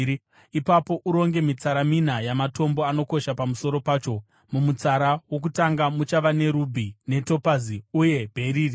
Ipapo uronge mitsara mina yamatombo anokosha pamusoro pacho. Mumutsara wokutanga muchava nerubhi, netopazi uye bheriri;